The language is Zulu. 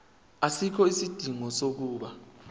asikho isidingo sokuba